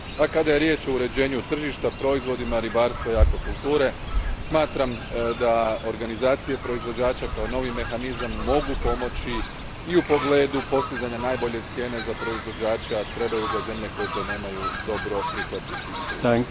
A kada je riječ o uređenju tržišta, proizvodima ribarstva i akvakulture, smatram da organizacije proizvođača kao novi mehanizam mogu pomoći i u pogledu postizanja najbolje cijene za proizvođača, a trebaju ga zemlje koje to nemaju dobro prihvatiti i pružiti.